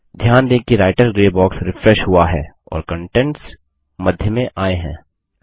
ध्यान दें कि रायटर ग्रे बॉक्स रिफ्रेश हुआ है और कंटेंट्स मध्य में आए हैं